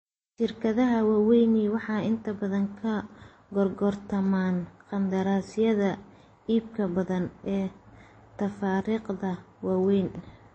Shirkadaha waaweyni waxay inta badan ka gorgortamaan qandaraasyada iibka badan ee tafaariiqda waaweyn.